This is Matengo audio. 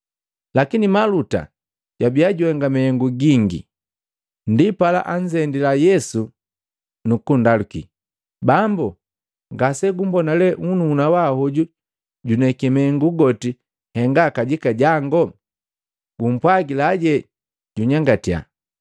Lakini Maluta jwabiya juhenga mahengu gingi. Ndipala, anzendila Yesu nukundaluki, “Bambu, ngasegumona le nnuhuna wangu hoju juneki mahengu goti henga kajika jango? Gumpwagila junyangatyaje.”